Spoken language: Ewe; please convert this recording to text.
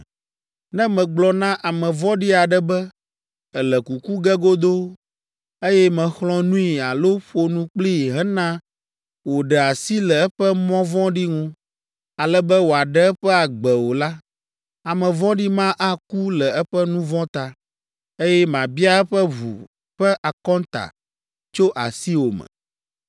Ne megblɔ na ame vɔ̃ɖi aɖe be, ‘Èle kuku ge godoo,’ eye mèxlɔ̃ nui alo ƒo nu kplii hena wòɖe asi le eƒe mɔ vɔ̃ɖi ŋu, ale be wòaɖe eƒe agbe o la, ame vɔ̃ɖi ma aku le eƒe nu vɔ̃ ta, eye mabia eƒe ʋu ƒe akɔnta tso asiwò me.